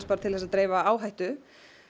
til að dreifa áhættu